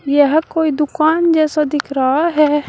यहां कोई दुकान जैसा दिख रहा है।